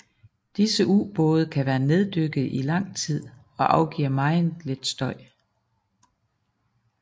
Disse ubåde kan være neddykkede i lang tid og afgiver meget lidt støj